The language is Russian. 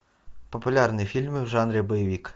популярные фильмы в жанре боевик